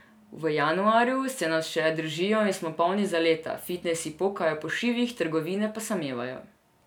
V januarju se nas še držijo in smo polni zaleta, fitnesi pokajo po šivih, trgovine pa samevajo.